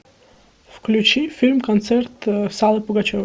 включи фильм концерт с аллой пугачевой